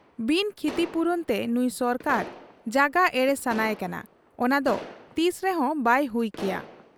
ᱵᱤᱱ ᱠᱷᱤᱛᱤᱯᱩᱨᱚᱱ ᱛᱮ ᱱᱩᱸᱭ ᱥᱚᱨᱠᱟᱨ ᱡᱟᱜᱟ ᱮᱲᱮ ᱥᱟᱱᱟᱭ ᱠᱟᱱᱟ, ᱚᱱᱟᱫᱚ ᱛᱤᱥᱨᱮᱦᱚᱸ ᱵᱟᱭ ᱦᱩᱭ ᱠᱮᱭᱟ ᱾